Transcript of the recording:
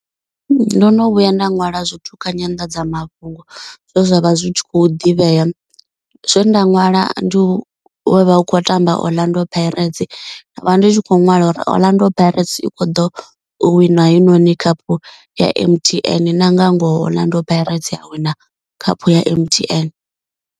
Ndo no vhuya nda ṅwala zwithu kha nyanḓadzamafhungo zwe zwa vha zwi khou ḓivhea. Zwe nda ṅwala ndi ho vha hu khou tamba Orlando Pirates. Nda vha ndi tshi kho ṅwala uri Orlando Pirates i kho ḓo wina hoyunoni khaphu ya M_T_N na nga ngoho Orlando Pirates ya a wina khaphu ya M_T_N.